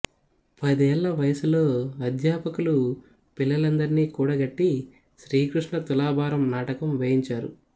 పదేళ్ళ వయసులో అధ్యాపకులు పిల్లలందర్నీ కూడగట్టి శ్రీకృష్ణ తులాభారం నాటకం వేయించారు